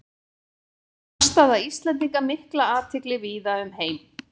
Vakti afstaða Íslendinga mikla athygli víða um heim.